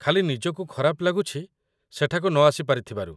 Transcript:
ଖାଲି ନିଜକୁ ଖରାପ ଲାଗୁଛି ସେଠାକୁ ନଆସି ପାରିଥିବାରୁ